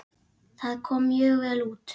Það kom mjög vel út.